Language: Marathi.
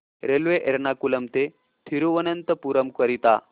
रेल्वे एर्नाकुलम ते थिरुवनंतपुरम करीता